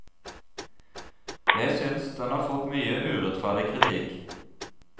Jeg synes den har fått mye urettferdig kritikk.